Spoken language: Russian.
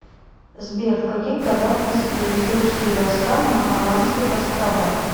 сбер в каких годах высадились русские войска на аландских островах